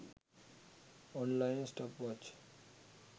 online stopwatch